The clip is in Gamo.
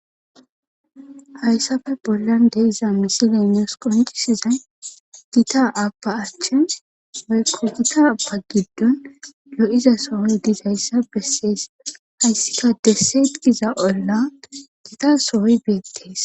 hayssafe bollan de'iza misile nus qoncisizay gita abba achchen woyikko gita aba giddon loiza sohoy dizayissa bessees hayssika desseet giza olla gita sohoy beettees